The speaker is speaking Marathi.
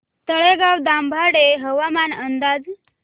तळेगाव दाभाडे हवामान अंदाज